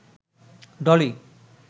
Dolly